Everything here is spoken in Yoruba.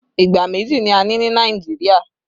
Ìgbà méjì ni a ní ní Nàìjíríà